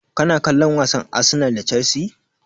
Kana kallon wasan Arsenal da Chelsea?